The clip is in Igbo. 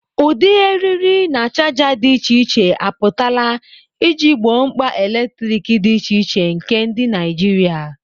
Ụdị eriri na chaja dị iche iche apụtala iji gboo mkpa eletrik dị iche iche nke ndị Naijiria.